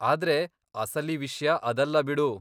ಆದ್ರೆ ಅಸಲಿ ವಿಷ್ಯ ಅದಲ್ಲ ಬಿಡು.